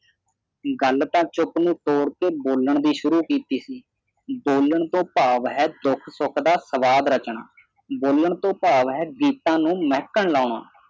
ਗੱਲ ਤਾਂ ਚੁੱਪ ਨੂੰ ਤੋੜ ਕੇ ਬੋਲਣ ਦੀ ਸ਼ੁਰੂ ਕੀਤੀ ਸੀ ਬੋਲਣ ਤੋਂ ਭਾਵ ਹੈ ਦੁੱਖ-ਸੁੱਖ ਦਾ ਸੰਵਾਦ ਰਚਨਾ ਬੋਲਣ ਤੋਂ ਭਾਵ ਹੈ ਗੀਤਾਂ ਨੂੰ ਮਹਿਕਣ ਲਾਉਣਾ।